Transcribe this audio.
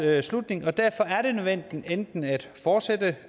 slutning og derfor er det nødvendigt enten at fortsætte